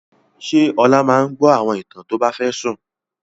Ṣé Ọlá máa gbọ́ àwọn ìtàn tó bá fẹ́ sùn?